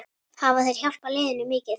Hafa þeir hjálpað liðinu mikið?